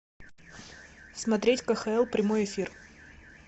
смотреть кхл прямой эфир